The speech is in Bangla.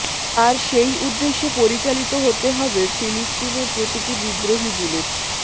আর সেই উদ্দেশ্যে পরিচালিত হতে হবে ফিলিস্তিনের প্রতিটি বিদ্রোহী বুলেট